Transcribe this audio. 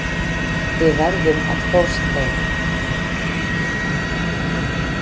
Við verðum að hrósa þeim.